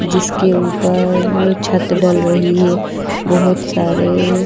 जिसके ऊपर छत डल रही है बहुत सारे--